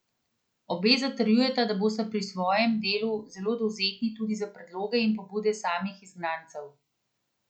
Obe zatrjujeta, da bosta pri svojem delu zelo dovzetni tudi za predloge in pobude samih izgnancev.